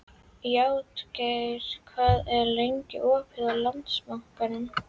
Játgeir, hvað er lengi opið í Landsbankanum?